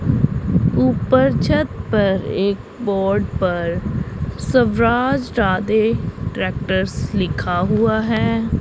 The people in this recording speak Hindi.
ऊपर छत पर एक बोर्ड पर स्वराज राधे ट्रैक्टर्स लिखा हुआ है।